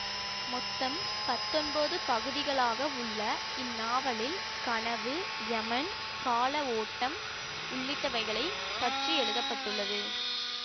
மொத்தம் பத்தொன்பது பகுதிகளாக உள்ள இந்நாவலில் கனவு யமன் கால ஓட்டம் உள்ளிட்டவைகளைப் பற்றி எழுத பட்டுள்ளது